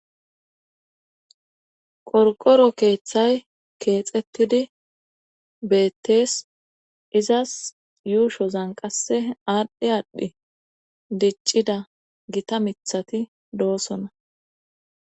Qorqoro keeththay keexetidi beettees izas yuushozan qasse aadhdhi aaddhi diccida gita mithati doosona.